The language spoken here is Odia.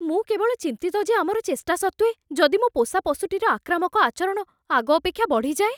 ମୁଁ କେବଳ ଚିନ୍ତିତ ଯେ ଆମର ଚେଷ୍ଟା ସତ୍ତ୍ୱେ, ଯଦି ମୋ ପୋଷା ପଶୁଟିର ଆକ୍ରାମକ ଆଚରଣ ଆଗ ଅପେକ୍ଷା ବଢ଼ି ଯାଏ!